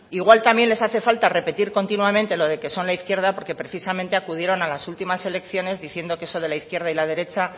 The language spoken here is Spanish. igual también les hace falta repetir continuamente lo de que son la izquierda porque precisamente acudieron a las últimas elecciones diciendo eso de que la izquierda y la derecha